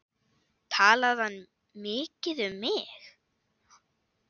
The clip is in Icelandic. Talaði hann mikið um mig?